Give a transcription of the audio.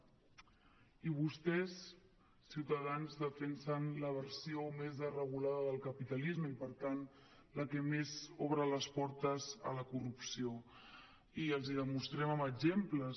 i vostès ciutadans defensen la versió més regulada del capitalisme i per tant la que més obra les portes a la corrupció i els ho demostrem amb exemples